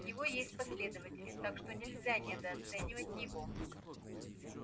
у него есть последователи так что нельзя недооценивать его